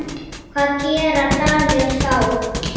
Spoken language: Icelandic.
Hvað gera Danir þá?